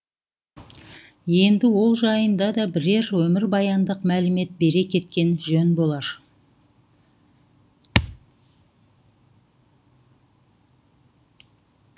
енді ол жайында да бірер өмірбаяндық мәлімет бере кеткен жөн болар